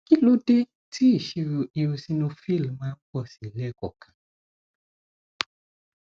kí ló dé tí ìṣirò eosinophil máa ń pọ sí i lẹẹkọọkan